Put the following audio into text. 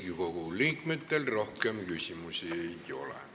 Riigikogu liikmetel rohkem küsimusi ei ole.